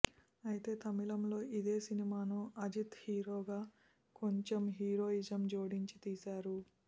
అయితే తమిళంలో ఇదే సినిమాను అజిత్ హీరోగా కొంచెం హీరోయిజం జోడించి తీశారు